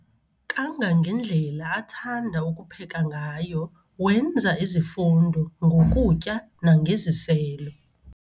Kangangendlela athanda ukupheka ngayo wenza izifundo ngokutya nangeziselo.